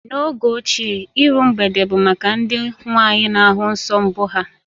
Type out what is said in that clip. N'oge ochie, iru mgbede bụ maka ndị nwaanyị na ahụ nsọ mbụ ha